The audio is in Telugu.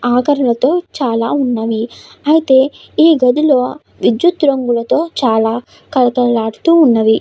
అలాగే ఇక్కడ గది చుట్టూ గోడలకి ఏవో రాసి ఉన్నట్టుమానం చూడవచ్చు. చాలా మంది కుర్చోనికి స్తలం కుల ఉన్నది.